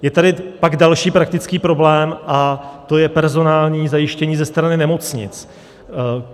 Je tady pak další praktický problém a to je personální zajištění ze strany nemocnic.